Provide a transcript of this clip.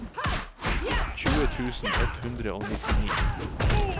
tjue tusen ett hundre og nittini